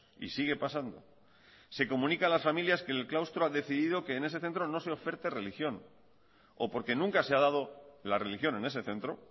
y sigue pasando se comunica a las familias que el claustro ha decidido que en ese centro no se oferte religión o porque nunca se ha dado la religión en ese centro